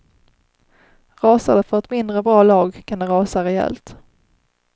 Rasar det för ett mindre bra lag kan det rasa rejält.